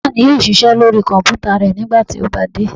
Bàbá mi yóò ṣiṣẹ́ lóri kọ̀mpútà rẹ̀ nígbà tí ó bá dé